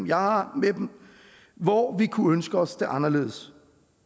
jeg har med dem hvor vi kunne ønske os det anderledes